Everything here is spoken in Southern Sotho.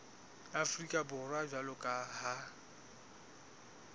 afrika borwa jwalo ka ha